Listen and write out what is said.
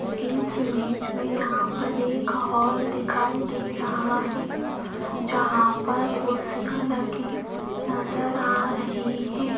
इस इमेज में यहां पर एक हॉल दिखाई दे रहा है जहां पर कुर्सियां लगी नजर आ रही है।